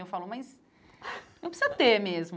Eu falo, mas não precisa ter mesmo.